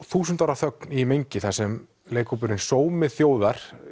þúsund ára þögn í mengi þar sem leikhópurinn sómi þjóðar